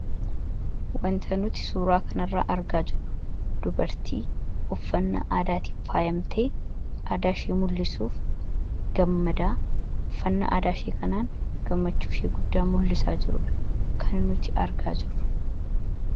Wanti nuti suuraa kana irraa argaa jirru dubartii uffannaa aadaatiin faayamtee aadaa ishee mul'isuuf gammadaa jirtudha. Uffannaa aadaa isheetiinis faayamtee gammachuu ishee ibsaa jirti.